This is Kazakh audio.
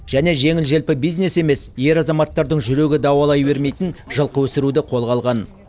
және жеңіл желпі бизнес емес ер азаматтардың жүрегі дауалай бермейтін жылқы өсіруді қолға алған